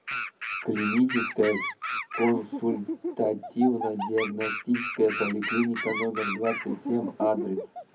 клиническая консультативно диагностическая поликлиника номер двадцать семь адрес